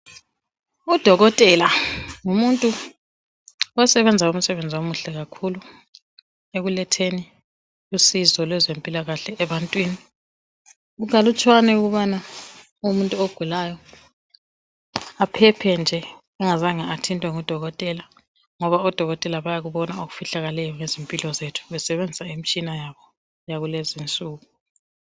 Udokotela ngumuntu osebenza umsebenzi omuhle kakhulu ekuletheni usizo lwezempilakahle ebantwini kukalutshwane ukubana umuntu ogulayo aphephe nje engazange wabonwa ngudokotela ngoba odokotela bayakubona okufihlakeleyo ngezimpilo zethu besebenzisa imtshina yalezinsuku.